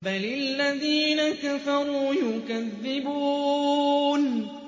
بَلِ الَّذِينَ كَفَرُوا يُكَذِّبُونَ